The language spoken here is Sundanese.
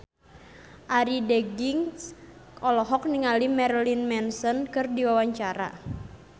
Arie Daginks olohok ningali Marilyn Manson keur diwawancara